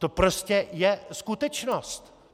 To je prostě skutečnost.